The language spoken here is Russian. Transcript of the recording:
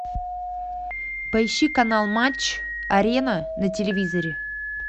поищи канал матч арена на телевизоре